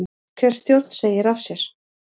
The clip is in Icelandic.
Kjörstjórn segir af sér